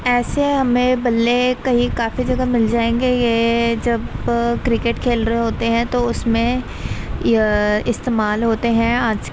ऐसे हमें बल्ले कई काफी जगह मिल जायेंगे ये जब क्रिकेट खेल रहे हैं तो उसमें ये इस्तेमाल होते है। आज --